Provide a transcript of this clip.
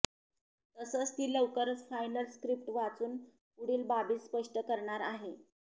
तसंच ती लवकरच फायनल स्क्रीप्ट वाचून पुढील बाबी स्पष्ट करणार आहे